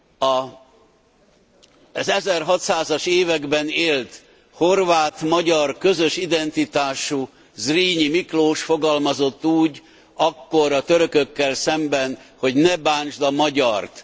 Az 1600 as években élt horvát magyar közös identitású Zrínyi Miklós fogalmazott úgy akkor a törökökkel szemben hogy Ne bántsd a magyart!.